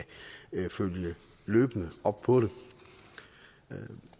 følge løbende op på det